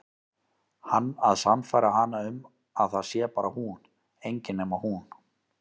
Hann að sannfæra hana um að það sé bara hún, engin nema hún.